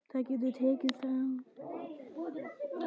Það getur tekið frá